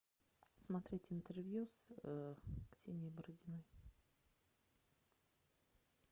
смотреть интервью с ксенией бородиной